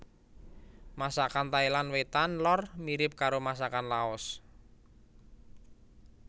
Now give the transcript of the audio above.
Masakan Thailand Wétan lor mirip karo masakan Laos